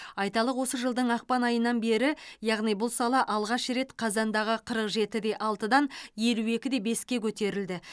айталық осы жылдың ақпан айынан бері яғни бұл сала алғаш рет қазандағы қырық жеті де алтыдан елу екі де беске көтерілді